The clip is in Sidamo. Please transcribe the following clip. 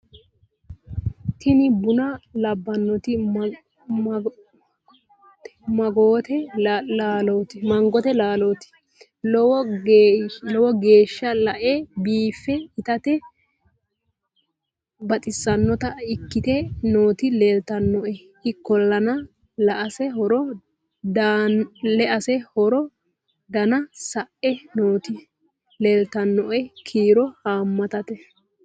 tini buna labbannoti magote laalooti lowo geya le'e biife itate baxissannota ikkite nooti leeltannoe ikkollana lease horo danna sae nooti leeltannoe kiiro haammatate